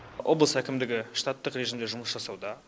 облыс әкімдігі штаттық режимде жұмыс жасауда